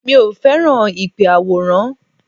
Mi ò fẹ́ràn ìpè àwòránhùn